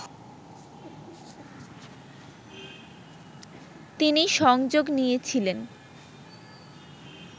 তিনি সংযোগ নিয়েছিলেন